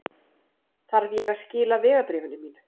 Þarf ég að skila vegabréfinu mínu?